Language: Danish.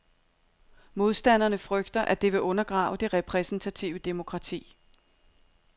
Modstanderne frygter, at det vil undergrave det repræsentative demokrati.